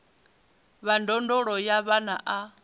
wa ndondolo ya vhana a